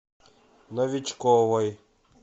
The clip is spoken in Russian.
новичковой